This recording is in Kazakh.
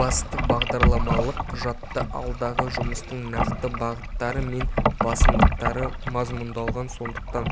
басты бағдарламалық құжатта алдағы жұмыстың нақты бағыттары мен басымдықтары мазмұндалған сондықтан